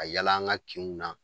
Ka yaala an ka kinw na